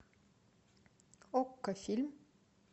окко фильм